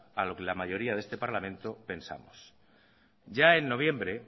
a lo que la mayoría de este parlamento pensamos ya en noviembre